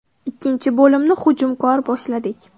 Ikkinchi bo‘limni hujumkor boshladik.